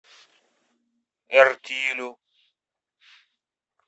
эртилю